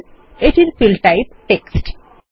phone এটির field type text